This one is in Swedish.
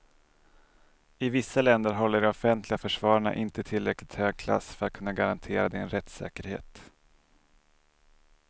I vissa länder håller de offentliga försvararna inte tillräckligt hög klass för att kunna garantera din rättssäkerhet.